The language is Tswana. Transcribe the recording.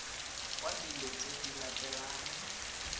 kwa dilo tse di latelang